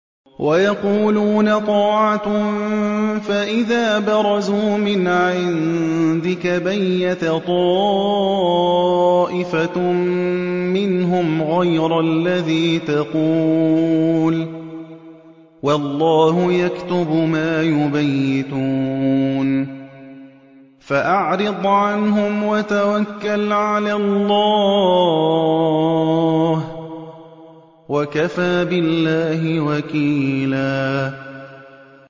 وَيَقُولُونَ طَاعَةٌ فَإِذَا بَرَزُوا مِنْ عِندِكَ بَيَّتَ طَائِفَةٌ مِّنْهُمْ غَيْرَ الَّذِي تَقُولُ ۖ وَاللَّهُ يَكْتُبُ مَا يُبَيِّتُونَ ۖ فَأَعْرِضْ عَنْهُمْ وَتَوَكَّلْ عَلَى اللَّهِ ۚ وَكَفَىٰ بِاللَّهِ وَكِيلًا